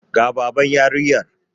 Ga Baban yarinyar.